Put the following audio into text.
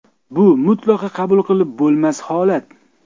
Bu mutlaqo qabul qilib bo‘lmas holat.